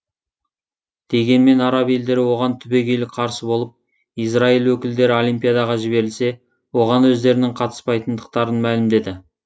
дегенмен араб елдері оған түбегейлі қарсы болып израиль өкілдері олимпиадаға жіберілсе оған өздерінің қатыспайтындықтарын мәлімдеді